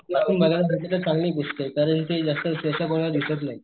आपल्याला बघायला भेटले तर चांगली गोष्टय कारण ते जास्त ह्याच्या मुळ दीसत नाहीत.